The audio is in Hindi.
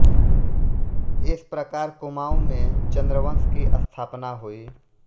इस प्रकार कुमाऊँ में चन्द्रवंश की स्थापना हुई